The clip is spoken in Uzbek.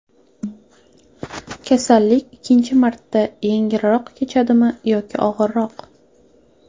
Kasallik ikkinchi marta yengilroq kechadimi yoki og‘irroq?